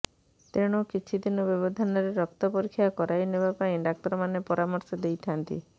ତେଣୁ କିଛି ଦିନ ବ୍ୟବଧାନରେ ରକ୍ତ ପରୀକ୍ଷା କରାଇ ନେବା ପାଇଁ ଡାକ୍ତରମାରନେ ପରାମର୍ଶ ଦେଇ ଥାଆନ୍ତି